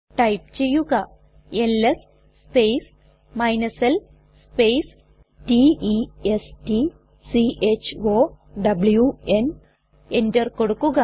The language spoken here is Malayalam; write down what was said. ടൈപ്പ് ചെയ്യുക LS space l space t e s t c h o w ന് എന്റർ കൊടുക്കുക